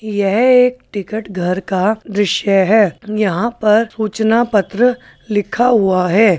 यह एक टिकट घर का दृश्य है यहाँ पर सूचना पत्र लिखा हुआ है।